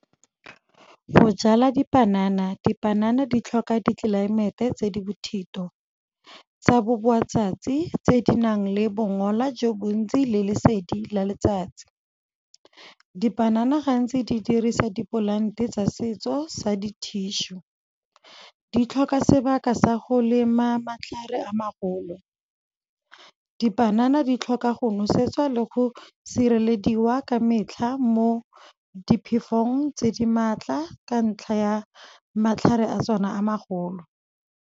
Go jala dipanana, dipanana di tlhoka ditlelaemete tse di bothito. Tsa bo boa matsatsi tse di nang le bongola jo bontsi le lesedi la letsatsi. Dipanana gantsi di dirisa di polante tsa setso sa di-tissue, di tlhoka sebaka sa go lema matlhare a magolo. Dipanana di tlhoka go nosetswa le go sirelediwa ka metlha, mo diphefong tse di maatla, ka ntlha ya matlhare a tsona a magolo.